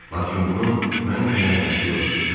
Lakin bunun mənim üçün əhəmiyyəti yoxdur.